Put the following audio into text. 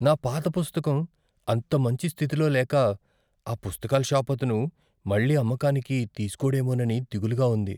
నా పాత పుస్తకం అంత మంచి స్థితిలో లేక ఆ పుస్తకాల షాపతను మళ్ళీ అమ్మకానికి తీసుకోడేమోనని దిగులుగా ఉంది.